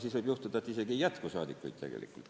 Siis võib juhtuda, et asendussaadikuid ei jätku.